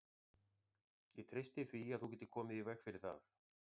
Ég treysti því, að þú getir komið í veg fyrir það